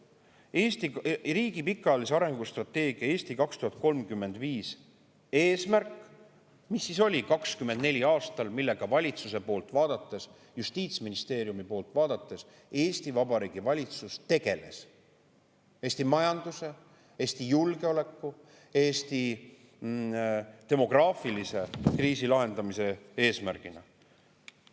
Eesti riigi pikaajalise arengustrateegia "Eesti 2035" eesmärk, mis oli 2024. aastal, millega valitsuse poolt vaadates, justiitsministeeriumi poolt vaadates Eesti Vabariigi Valitsus tegeles Eesti majanduse, Eesti julgeoleku, Eesti demograafilise kriisi lahendamise eesmärgina.